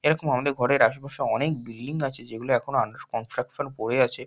এরকম আমাদের ঘরের আশেপাশে অনেক বিল্ডিং আছে যেগুলো এখনো আন্ডার কনস্ট্রাকশন পড়ে আছে।